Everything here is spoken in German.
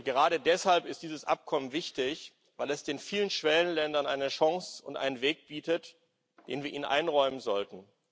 Gerade deshalb ist dieses Abkommen wichtig, weil es den vielen Schwellenländern eine Chance und einen Weg bietet, den wir ihnen einräumen sollten.